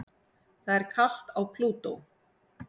Það er kalt á Plútó.